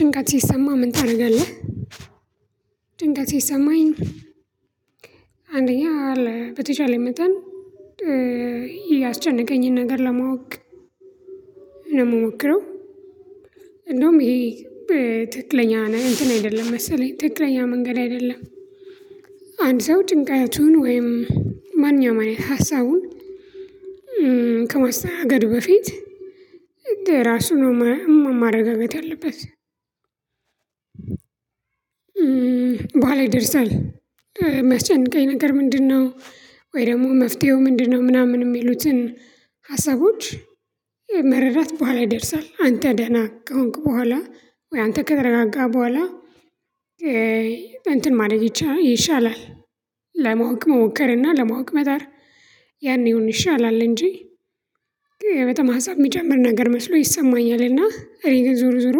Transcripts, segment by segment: ጭንቀት ሲሰማ ምን ታረጋለህ? ጭንቀት ሲሰማኝ አንደኛ አለ በተቻለ መጠን ያስጨነቀኝን ነገር ለማወቅ ነው ምሞክረው። እንደውም ይሄ በትክክለኛ ነህ እንትን አይደለም መሰለኝ ትክክለኛ መንገድ አይደለም። አንድ ሰው ጭንቀቱን ወይም ማንኛውም አይነት ሀሳቡን ከማስተናገድ በፊት ራሱ ነው ማረጋገጥ ያለበት። በኋላ ይደርሳል። ሚያስጨንቀኝ ነገር ምንድነው? ወይ ደግሞ መፍትሄው ምንድነው? ምናምን የሚሉትን ሀሳቦች መረዳት በኋላ ይደርሳል አንተ ደህና ከሆንክ በኋላ ወይ አንተ ከተረጋጋ በኋላ እንትን ማደረግ ይሻላል። ለማወቅ ሞከርና ለማወቅ መጣር ያኔውን ይሻላል። እንጂ በጣማ ህዝብ የሚጨምር ነገር መስሎ ይሰማኛልና እኔ ዙር ዞሮ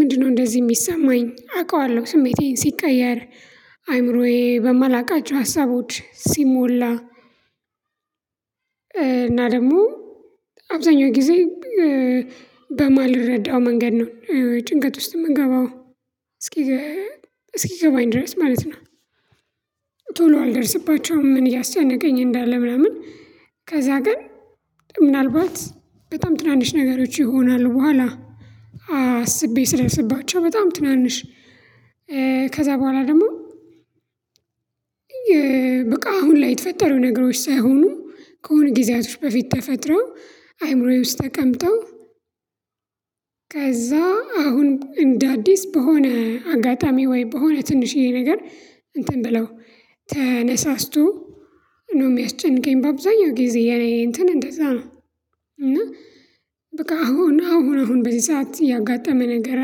ምንድነው እንደዚህ የሚሰማኝ አውቃለሁ። ስሜቴን ሲቀየር አይምሮዬ በማላውቃቸው ሀሳቦች ሲሞላ። እና ደግሞ አብዛኛው ጊዜ በማልረዳው መንገድ ነው ጭንቀት ውስጥ የምንገባው እስኪ እስኪገባኝ ድረስ ማለት ነው። ቶሎ አልደርስባቸውም እያስጨነቀኝ እንዳለ ምናምን። ከዛ ግን ምናልባት በጣም ትናንሽ ነገሮች ይሆናሉ በኋላ አስቤ ስደርስባቸው በጣም ትናንሽ። ከዛ በኋላ ደግሞ በቃ አሁን ላይ የተፈጠሩ ነገሮች ሳይሆኑ ከሆነ ጊዜያቶች በፊት ተፈጥረው አይምሮዬ ውስጥ ተቀምጠው። ከዛ አሁን እንደ አዲስ በሆነ አጋጣሚ ወይ በሆነ ትንሽዬ ነገር እንትን ብለው ተነሳስቶ ነው የሚያስጨንቀኝ። በአብዛኛው ጊዜ የኔ እንትን እንደዛ ነው። እና በቃ አሁን አሁን አሁን በዚህ ሰዓት ያጋጠመ ነገር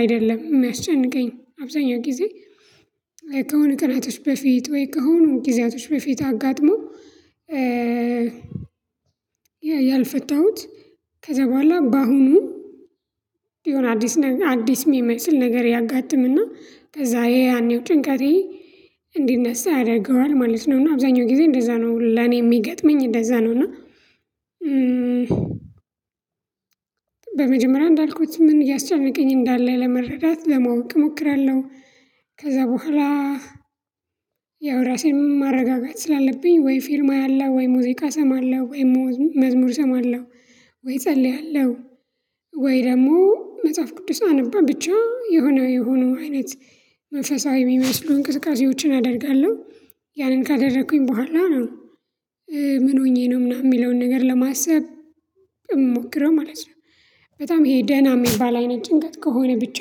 አይደለም ሚያስጨንቀኝ አብዛኛው ጊዜ። ከሆነ ቀናቶች በፊት ወይ ከሆኑ ጊዜያቶች በፊት አጋጥሞ። ያልፈታሁት ከዛ በኋላ በአሁኑ የሆነ አዲስ ነገ አዲስ የሚመስል ነገር ያጋጥምና ከዛ ያኔው ጭንቀቴ እንዲነሳ ያደርገዋል ማለት ነው። እና አብዛኛው ጊዜ እንደዛ ነው ለኔ የሚገጥመኝ እንደዛ ነው። እና በመጀመሪያ እንዳልኩት ምን እያስጨነቀኝ እንዳለ ለመረዳት ለማወቅ እሞክራለሁ። ከዛ በኋላ ያው ራሴን ማረጋጋት ስላለብኝ ወይ ፊልም አያለው ወይ ሙዚቃ ሰማለሁ ወይ መዝሙር ሰማለሁ ወይ እጸልያለሁ። ወይ ደግሞ መጽሐፍ ቅዱስ አነባ ብቻ የሆነ የሆኑ አይነት መንፈሳዊ የሚመስሉ እንቅስቃሴዎችን አደርጋለሁ። ያንን ካደረኩኝ በኋላ ነው ምን ሆኜ ነው ምናምን የሚለውን ነገር ለማሰብ እምሞክረው ማለት ነው። በጣም ይሄ ደህና እሚባል አይነት ጭንቀት ከሆነ ብቻ።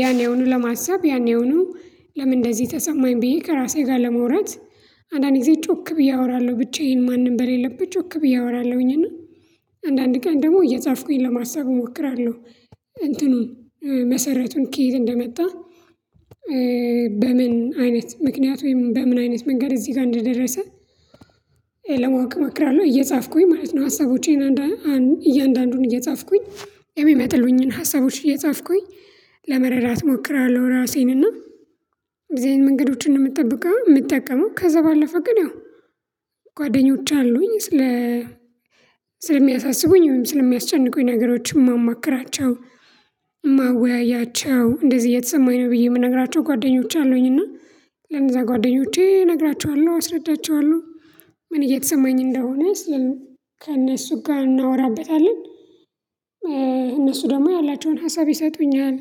ያኔውኑ ለማሰብ ያኔውኑ ለምን እንደዚህ ተሰማኝ ብዬ ከራሴ ጋር ለመውራት። አንዳንዴ ጮክ ብዬ አወራለሁ ብቻዬን ማንም በሌለበት ጮክ ብዬ አወራለሁኝ። እና አንዳንድ ቀን ደግሞ እየጻፍኩኝ ለማሰብ እሞክራለሁ። እንትኑን መሰረቱን ከየት እንደመጣ። በምን አይነት ምክንያት ወይም በምን አይነት መንገድ እዚህ ጋር እንደደረሰ። ለማወቅ እሞክራለሁ እየጻፍኩኝ ማለት ነው። ሀሳቦቼን እያንዳንዱን እየጻፍኩኝ የሚመጥሉኝን ሀሳቦች እየጻፍኩኝ ለመረዳት እሞክራለሁ። ራሴንና እዚህ አይነት መንገዶችን ነው የምትጠብቀው የምጠቀመው ከዛ ባለፈ ግን ያው ጓደኞች አሉኝ ስለ ስለሚያሳስቡኝ ወይም ስለሚያስጨንቁኝ ነገሮች እማማክራቸው። እማወያያቸው እንደዚህ እየተሰማኝ ነው ብዬ የምነግራቸው ጓደኞቼ አሉኝ እና ለእዛ ጓደኞቼ እነግራቸዋለሁ አስረዳቸዋለሁ ምን እየተሰማኝ እንደሆነ ስል ከእነሱ ጋር እናወራበታለን። እነሱ ደግሞ ያላቸውን ሀሳብ ይሰጡኛል።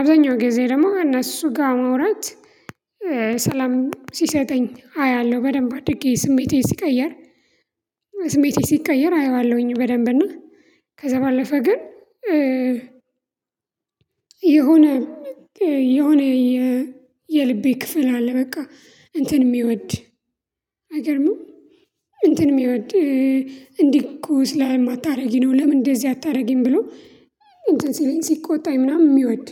አብዛኛው ጊዜ ደግሞ እነሱ ጋር መውራት ሰላም ሲሰጠኝ አያለሁ በደንብ አድርጌ ስሜቴ ሲቀየር። ስሜቴ ሲቀየር አየዋለሁኝ በደንብ እና ከዛ ባለፈ ግን። የሆነ የሆነ የልቤ ክፍል አለ በቃ እንትን የሚወድ አይገርምም እንትን የሚወድ እንዲህ እኮ ስላልማታረጊ ነው። ለምን እንደዚህ አታረጊም ብሎ እንትን ሲለኝ ሲቆጣኝ ምናምን የሚወድ።